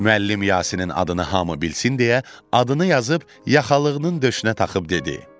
Müəllim Yasinın adını hamı bilsin deyə, adını yazıb yaxalığının döşünə taxıb dedi.